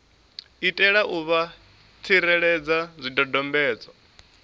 itela u vha tsireledza zwidodombedzwa